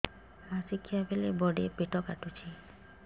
ମାସିକିଆ ବେଳେ ବଡେ ପେଟ କାଟୁଚି